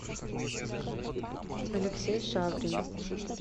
алексей шаврин